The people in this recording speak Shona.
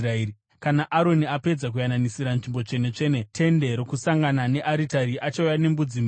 “Kana Aroni apedza kuyananisira Nzvimbo Tsvene-tsvene, Tende Rokusangana nearitari, achauya nembudzi mhenyu.